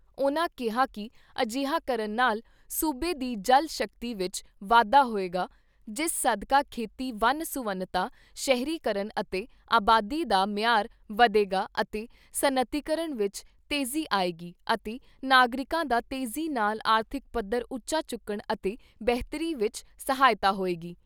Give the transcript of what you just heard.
ਉਨ੍ਹਾਂ ਕਿਹਾ ਕਿ ਅਜਿਹਾ ਕਰਨ ਨਾਲ ਸੂਬੇ ਦੀ ਜਲ ਸ਼ਕਤੀ ਵਿਚ ਵਾਧਾ ਹੋਏਗਾ ਜਿਸ ਸਦਕਾ ਖੇਤੀ ਵੰਨ ਸੁਵੰਨਤਾ ਸ਼ਹਿਰੀਕਰਨ ਅਤੇ ਆਬਾਦੀ ਦਾ ਮਿਆਰ ਵਧੇਗਾ ਅਤੇ ਸਨਅਤੀਕਰਨ ਵਿਚ ਤੇਜ਼ੀ ਆਏਗੀ ਅਤੇ ਨਾਗਰਿਕਾਂ ਦਾ ਤੇਜ਼ੀ ਨਾਲ ਆਰਥਿਕ ਪੱਧਰ ਉੱਚਾ ਚੁੱਕਣ ਅਤੇ ਬੇਹਤਰੀ ਵਿਚ ਸਹਾਇਤਾ ਹੋਏਗੀ।